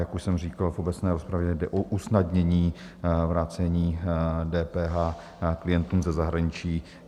Jak už jsem zmínil v obecné rozpravě, jde o usnadnění vrácení DPH klientům ze zahraničí.